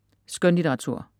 Skønlitteratur